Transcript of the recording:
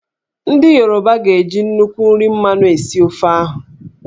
Ndị Yoruba ga-eji nnukwu nri mmanụ esi ofe ahụ